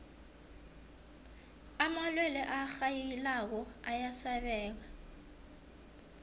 amalwelwe arhayilako ayasabeka